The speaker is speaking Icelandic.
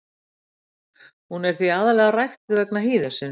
Hún er því aðallega ræktuð vegna hýðisins.